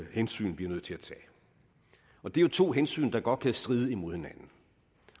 hensyn vi er nødt til at tage og det er jo to hensyn der godt kan stride imod hinanden